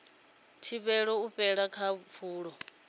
thivhele u fhela ha pfulo